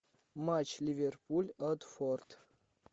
матч ливерпуль уотфорд